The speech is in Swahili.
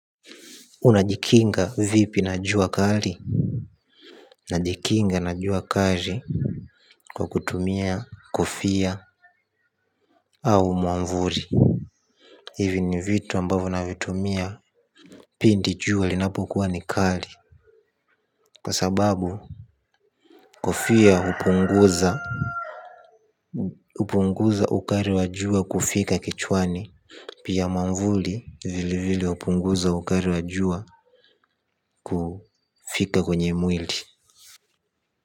Unajikinga vipi na jua kali. Najikinga na jua kali. Kwa kutumia kofia au mwavuli. Hivi ni vitu ambavyo navitumia. Pindi jua linapokuwa ni kali. Kwa sababu kofia hupunguza, hupunguza ukali wa jua kufika kichwani. Pia mwavuli vile vile hupunguza ukali wa jua kufika kwenye mwili.